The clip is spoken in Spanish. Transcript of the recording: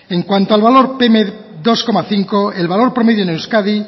en cuanto al valor pm dos coma cinco el valor promedio en euskadi